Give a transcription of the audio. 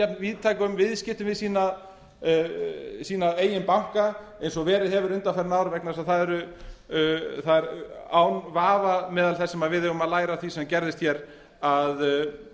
víðtækum viðskiptum við sína eigin banka eins og verið hefur undanfarin ár vegna þess að það er án vafa meðal þess sem við eigum að læra af því sem gerðist hér að